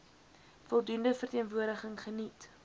voldoende verteenwoordiging geniet